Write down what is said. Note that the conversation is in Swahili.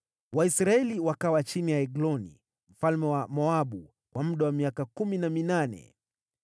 Waisraeli wakawa chini ya Egloni mfalme wa Moabu kwa muda wa miaka kumi na minane.